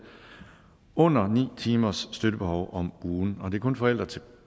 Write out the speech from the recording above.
under ni timers støttebehov om ugen får og det er kun forældre til